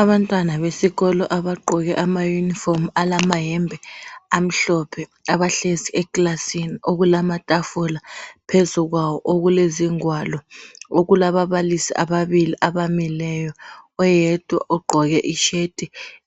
Abantwana besikolo abagqoke ama uniform amayembe amhlophe abahlezi ekilasini okulamatafula phezu kwawo okulezingwalo okulababalisi abamileyo. Oyedwa ugqoke ishirt